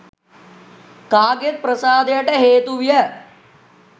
කාගෙත් ප්‍රසාදයට හේතු විය